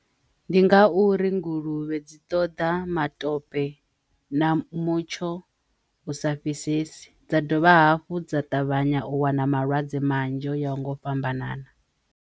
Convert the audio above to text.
Ndi nga uri nguluvhe dzi ṱoḓa matope na mutsho u sa fhisesi dza dovha hafhu dza ṱavhanya u wana malwadze manzhi o yaho nga u fhambanana.